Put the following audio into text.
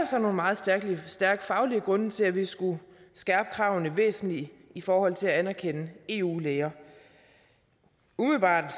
så nogle meget stærke faglige grunde til at vi skulle skærpe kravene væsentligt i forhold til at anerkende eu læger umiddelbart er